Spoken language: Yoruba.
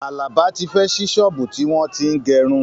Àlàbá tí fẹ́ ṣí ṣọ́ọ̀bú tí wọ́n tín gẹrun